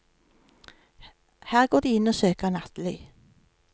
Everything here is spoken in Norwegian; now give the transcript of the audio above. Her går de inn og søker nattely.